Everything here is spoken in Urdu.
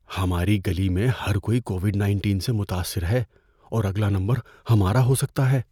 ہماری گلی میں ہر کوئی کووڈ نائنٹین سے متاثر ہے اور اگلا نمبر ہمارا ہو سکتا ہے۔